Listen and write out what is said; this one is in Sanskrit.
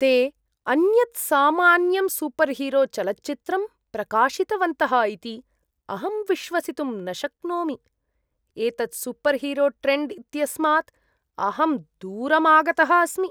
ते अन्यत् सामान्यं सूपर्हीरोचलच्चित्रं प्रकाशितवन्तः इति अहं विश्वसितुं न शक्नोमि। एतत् सूपर्हीरोट्रेण्ड् इत्यस्मात् अहं दूरम् आगतः अस्मि।